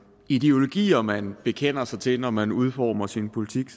ideologier man bekender sig til når man udformer sin politik